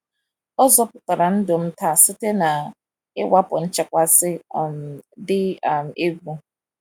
Ọ zọpụtara ndụ m taa site na mwakpo nchekasị um dị um egwu.